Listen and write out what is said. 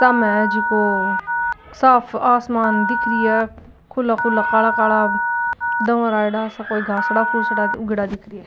साम है जिको साफ आसमान दिख रही है खुला खुला काला काला धुवर आयेडा सा --